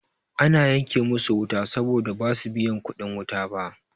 Ana yanke musu wuta saboda basu biya kuɗin wuta ba.